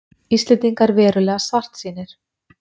Íslendingar verulega svartsýnir